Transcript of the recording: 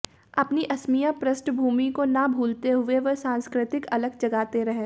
अपनी असमिया पृष्ठभूमि को न भूलते हुए वे सांस्कृतिक अलख जगाते रहे